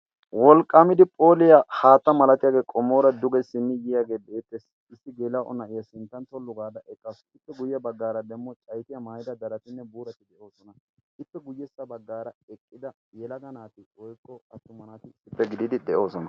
wolqqaamidi phooliyaa haatta malatiyaagee qomoora duge simmi yiyaagee beettes. issi geela7o na7iya sinttan tollu gaada eqqassu ippe guyye baggaara demmo caitiya maayida daratinne buurati de7oosona. ippe guyyessa baggaara eqqida yelaga naati xoikko attuma naati issitte gidiidi de7oosona.